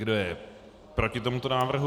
Kdo je proti tomuto návrhu?